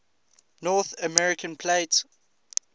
north american plate